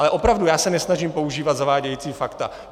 Ale opravdu, já se nesnažím používat zavádějící fakta.